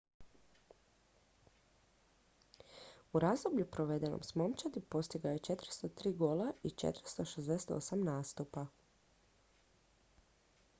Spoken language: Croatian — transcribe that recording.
u razdoblju provedenom s momčadi postigao je 403 gola u 468 nastupa